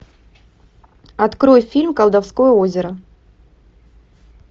открой фильм колдовское озеро